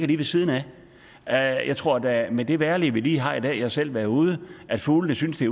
ved siden af af jeg tror da med det vejrlig vi har i dag jeg har selv været udenfor at fuglene synes det